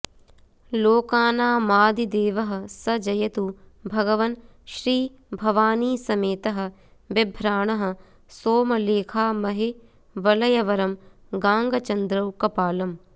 लोकानामादिदेवः स जयतु भगवन्श्रीभवानीसमेतः बिभ्राणः सोमलेखामहिवलयवरं गाङ्गचन्द्रौ कपालम्